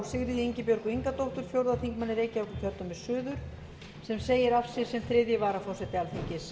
sigríði ingibjörgu ingadóttur fjórði þingmaður reykjavíkurkjördæmis suður sem segir af sér sem þriðji varaforseti alþingis